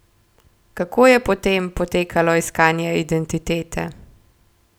Kako je po tem potekalo iskanje identitete?